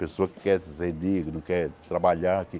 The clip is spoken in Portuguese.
Pessoa que quer dizer digno, quer trabalhar aqui.